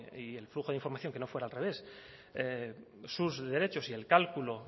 y que el flujo de información no fuera al revés sus derechos y el cálculo